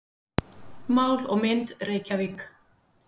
Mál og mynd, Reykjavík.